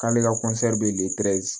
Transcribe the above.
K'ale ka bɛ